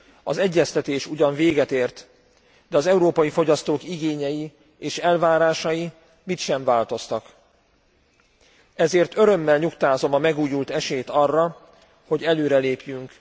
Az egyeztetés ugyan véget ért, de az európai fogyasztók igényei és elvárásai mit sem változtak, ezért örömmel nyugtázom a megújult esélyt arra, hogy előrelépjünk.